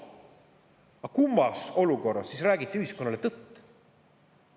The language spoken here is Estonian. Aga kummas olukorras siis räägiti ühiskonnale tõtt?